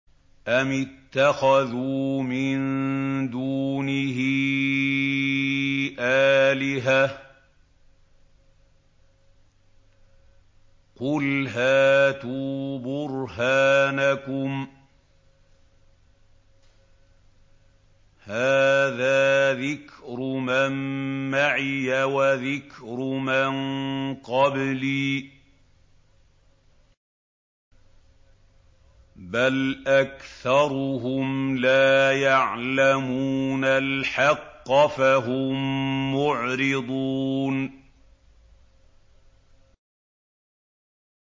أَمِ اتَّخَذُوا مِن دُونِهِ آلِهَةً ۖ قُلْ هَاتُوا بُرْهَانَكُمْ ۖ هَٰذَا ذِكْرُ مَن مَّعِيَ وَذِكْرُ مَن قَبْلِي ۗ بَلْ أَكْثَرُهُمْ لَا يَعْلَمُونَ الْحَقَّ ۖ فَهُم مُّعْرِضُونَ